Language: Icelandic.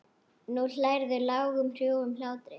Nú hlærðu, lágum hrjúfum hlátri.